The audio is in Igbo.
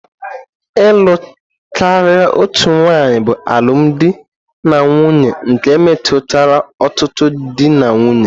Ịlụ karịa otu nwanyị bụ alụmdi na nwunye nke metụtara ọtụtụ di na nwunye.